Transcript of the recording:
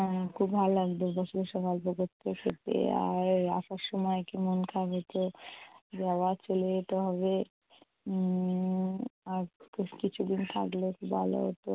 উম খুব ভাল্ লাগতো বসে বসে গল্প করতে আর আসার সময় কী মন খারাপ হতো যে আবার চলে যেতে হবে, উম আর বেশ কিছু দিন থাকলে খুব ভালো হতো